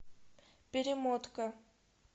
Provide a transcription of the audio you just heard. перемотка